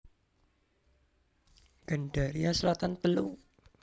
Gandaria Selatan telu